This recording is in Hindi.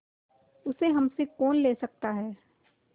उसे हमसे कौन ले सकता है